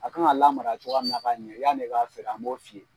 A kan ka lamara cogoya min na ka ɲɛ yanni i ka feere an b'o f'i ye.